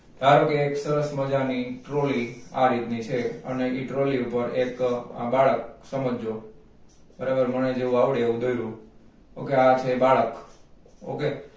ધારોકે એક સરસ મજાની trolly આ રીત ની છે અને ઈ trolly ઉપર એક આ બાળક સમજજો બરાબર મને જેવું આવડે એવું દોર્યું okay આ છે બાળક okay